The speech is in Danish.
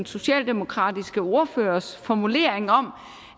socialdemokratiske ordførers formulering om